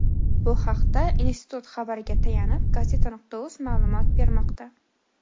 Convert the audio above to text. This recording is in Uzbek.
Bu haqda institut xabariga tayanib Gazeta.uz ma’lumot bermoqda .